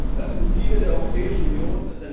Das sind Ziele der Europäischen Union.